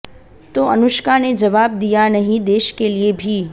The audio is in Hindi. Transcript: तो अनुष्का ने जवाब दिया नहीं देश के लिए भी